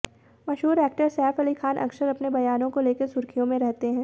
मशहूर एक्टर सैफ अली खान अक्सर अपने बयानों को लेकर सुर्खियों में रहते हैं